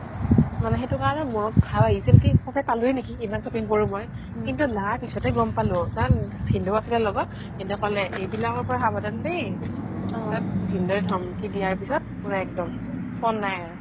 মানে সেইটো কাৰণে মনত ভাব আহিছিল কি সচাকে পালোৱে নেকি ইমান shopping কৰো মই কিন্তু পিছত হে গ'ম পালো ভিনদেউ আছিলে লগত ভিনদেউ ক'লে এই বিলাকৰ পৰা সাবধান দেই পিছত ভিনদেউ ধমকি দিয়াৰ পিছত পুৰা একদম phone নাই আৰু